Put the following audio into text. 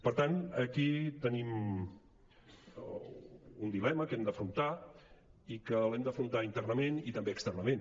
per tant aquí tenim un dilema que hem d’afrontar i que hem d’afrontar internament i també externament